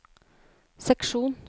seksjon